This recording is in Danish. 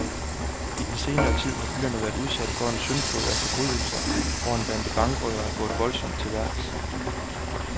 I den senere tid har byen været udsat for en syndflod af forbrydelser, hvor en bande bankrøvere er gået voldsomt til værks.